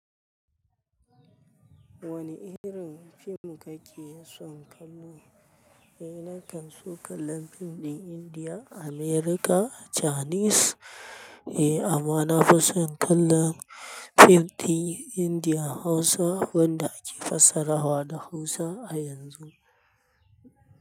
Wane irin fim kake son kallo? Eh, nakan so kallon fim ɗin Indiya, America, Chinese. Eh, ammana fison kallon fim ɗin Indiya Hausa wanda ake fassarawa da Hausa a yanzu.